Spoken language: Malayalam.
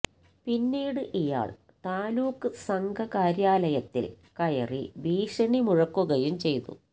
പിന്നീട് ഇയാള് താലൂക്ക് സംഘകാര്യാലയത്തില് കയറി ഭീഷണി മുഴക്കുകയും ചെയ്തു